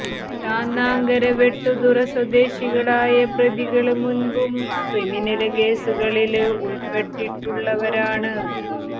ചാന്നാങ്കര വെട്ടുതുറ സ്വദേശികളായ പ്രതികള് മുന്പും ക്രിമിനല് കേസുകളില് ഉള്പ്പെട്ടിട്ടുള്ളവരാണ്